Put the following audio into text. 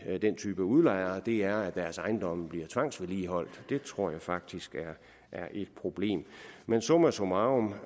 type udlejere er at deres ejendomme bliver tvangsvedligeholdt det tror jeg faktisk er et problem men summa summarum